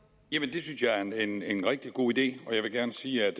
det synes jeg er en er en rigtig god idé jeg vil gerne sige at